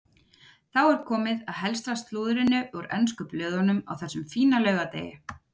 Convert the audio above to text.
Þá er komið að helsta slúðrinu úr ensku blöðunum á þessum fína laugardegi.